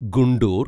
Guntur